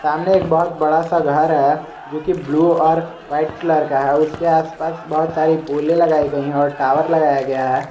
सामने एक बात बड़ा सा घर है जोकि ब्लू और वाइट कलर का है उसके आसपास बहुत सारी पूले लगाई गई और टावर लगाया गया है।